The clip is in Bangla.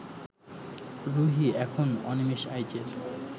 রুহী এখন অনিমেষ আইচের